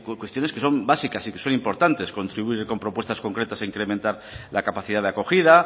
cuestiones que son básicas y que son importantes contribuir con propuestas concretas a incrementar la capacidad de acogida